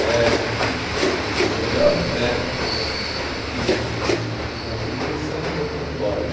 Médico, principalmente, o melhor médico na, que tinha em, no Mato Grosso, era o doutor. Boing.